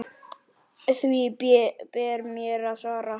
Því ber mér að svara.